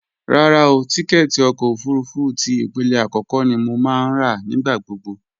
Rárá o, tíkẹ́ẹ̀tì ọkọ̀ òfurufú ti ìpele àkọ́kọ́ ni mo máa ń rà nígbà gbogbo